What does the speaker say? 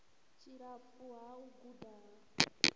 tshilapfu ha u guda ha